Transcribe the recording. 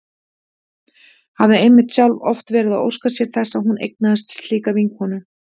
Hafði einmitt sjálf oft verið að óska sér þess að hún eignaðist slíka vinkonu.